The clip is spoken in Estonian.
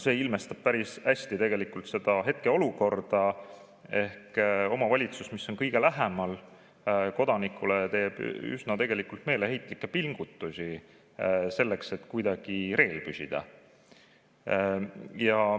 See ilmestab päris hästi seda hetkeolukorda, et omavalitsus, mis on kodanikule kõige lähemal, teeb üsna meeleheitlikke pingutusi selleks, et kuidagi reel püsida.